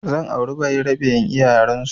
Zan auri bayarabe in iya yarensu